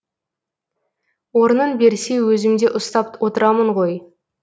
орнын берсе өзімде ұстап отырамын ғой